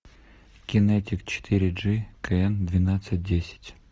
кинетик четыре джи кн двенадцать десять